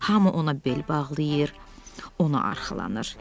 Hamı ona bel bağlayır, ona arxalanır.